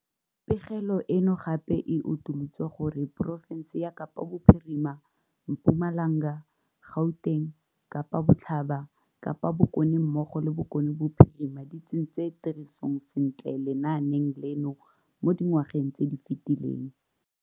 Pegelo eno gape e utolotse gore porofense ya Kapa Bophirima, Mpumalanga, Gauteng, Kapa Botlhaba, Kapa Bokone mmogo le Bokone Bophirima di tsentse tirisong sentle lenaane leno mo dingwageng tse di fetileng